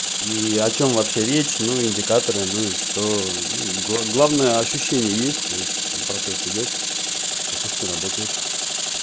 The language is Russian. и о чём вообще речь ну индикаторы ну и что ну главное ощущение есть то есть процесс идёт катушки работают